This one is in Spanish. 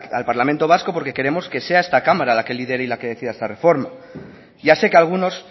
al parlamento vasco porque queremos que sea esta cámara la que lidere y la que decida esta reforma ya sé que algunos